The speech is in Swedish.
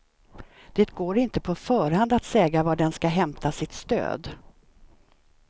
Det går inte på förhand att säga var den ska hämta sitt stöd.